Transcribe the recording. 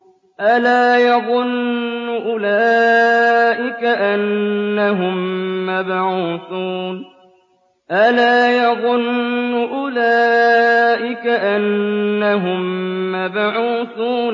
أَلَا يَظُنُّ أُولَٰئِكَ أَنَّهُم مَّبْعُوثُونَ